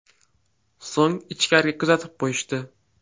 So‘ng ichkariga kuzatib qo‘yishdi.